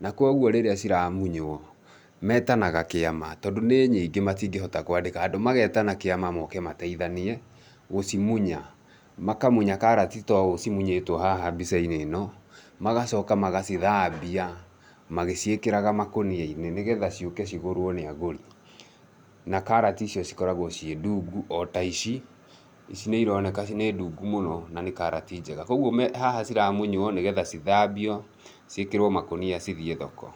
na kogwo rĩrĩa ciramunywo, metanaga kĩama tondũ ni nyingĩ matingĩhota kũandĩka andũ. Magetana kĩama moke mateithanie gũcimunya. Makamunya karati to ũ cimunyĩtwo haha mbica-inĩ ĩ no, magacoka magacithambia magĩciĩkĩraga makũnia-inĩ, nĩgetha ciũke cigũrwo ni agũri. Na karati icio cikoragwo ciĩ ndungu o ta ici. Ici nĩ ironeka nĩ ndungu mũno na nĩ karati njega, koguo haha ciramunywo nĩgetha cithambio, cĩkĩrwo makũnia cithiĩ thoko.